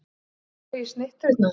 Er eitthvað varið í snitturnar?